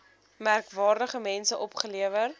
merkwaardige mense opgelewer